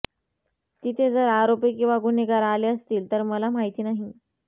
तिथे जर आरोपी किंवा गुन्हेगार आले असतील तर मला माहिती नाही